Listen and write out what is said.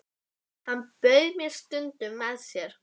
Hann bauð mér stundum með sér.